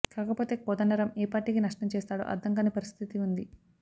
కాకపోతే కోదండరాం ఏ పార్టీకి నష్టం చేస్తాడో అర్థం కాని పరిస్థితి ఉంది